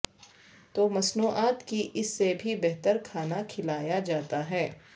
تو مصنوعات کی اس سے بھی بہتر کھانا کھلایا جاتا ہے